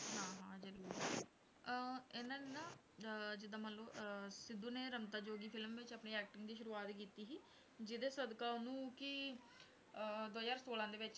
ਹਾਂ ਹਾਂ ਜ਼ਰੂਰ ਅਹ ਇਹਨਾਂ ਨੇ ਨਾ ਅਹ ਜਿੱਦਾਂ ਮੰਨ ਲਓ ਅਹ ਸਿੱਧੂ ਨੇ ਰਮਤਾ ਜੋਗੀ film 'ਚ ਆਪਣੀ acting ਦੀ ਸ਼ੁਰੂਆਤ ਕੀਤੀ ਸੀ, ਜਿਹਦੇ ਸਦਕਾ ਉਹਨੂੰ ਕਿ ਅਹ ਦੋ ਹਜ਼ਾਰ ਛੋਲਾਂ ਦੇ ਵਿੱਚ